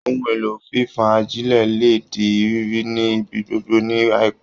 Ohun èlò fífán ajílẹ̀ lè di rírí ni ibi gbogbo ní àìpẹ́